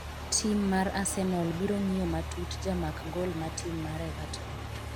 tim mar Arsenal biro ng'iyo matut jamak gol ma tim mar Everton